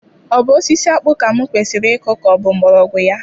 Ọ bụ osisi akpu ka m kwesiri ịkụ ka ọ bụ mgbmọrọgwụ ya?